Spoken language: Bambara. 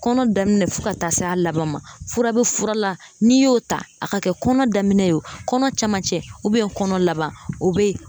Kɔnɔ daminɛ fo ka taa s'a laban ma fura be fura la n'i y'o ta a ka kɛ kɔnɔ daminɛ ye o kɔnɔ cɛmancɛ kɔnɔ laban o be ye